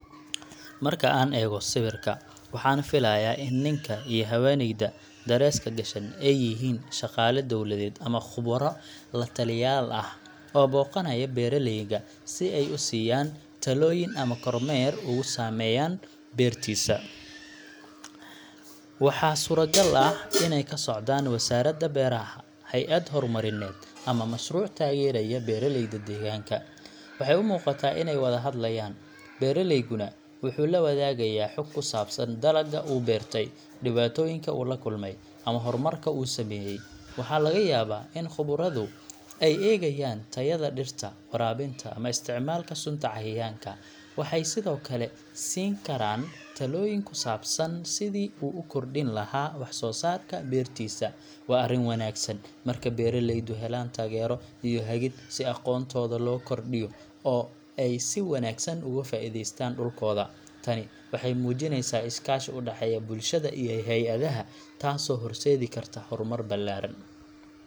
Marka aan eego sawirka, waxaan filayaa in ninka iyo haweeneyda dareeska gashan ay yihiin shaqaale dawladeed ama khubaro la taliyaal ah oo booqanaya beeraleyga si ay u siiyaan talooyin ama kormeer ugu sameeyaan beertiisa. Waxaa suuragal ah inay ka socdaan wasaaradda beeraha, hay’ad horumarineed, ama mashruuc taageeraya beeraleyda deegaanka. Waxay u muuqataa inay wada hadlayaan, beeraleyguna wuxuu la wadaagayaa xog ku saabsan dalagga uu beertay, dhibaatooyinka uu la kulmay, ama horumarka uu sameeyay. Waxaa laga yaabaa in khubaradu ay eegayaan tayada dhirta, waraabinta, ama isticmaalka sunta cayayaanka. Waxay sidoo kale siin karaan talooyin ku saabsan sidii uu u kordhin lahaa wax-soosaarka beertiisa. Waa arrin wanaagsan marka beeraleydu helaan taageero iyo hagid si aqoontooda loo kordhiyo oo ay si wanaagsan ugu faa’iideystaan dhulkooda. Tani waxay muujinaysaa iskaashi u dhexeeya bulshada iyo hay’adaha, taasoo horseedi karta horumar ballaaran.